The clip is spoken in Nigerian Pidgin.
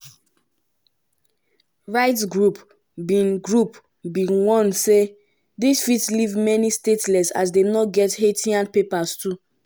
rights groups bin groups bin warn say dis fit leave many stateless as dem no get haitian papers too.